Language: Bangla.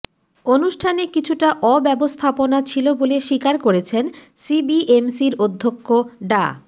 অনুষ্ঠানে কিছুটা অব্যবস্থাপনা ছিল বলে স্বীকার করেছেন সিবিএমসির অধ্যক্ষ ডা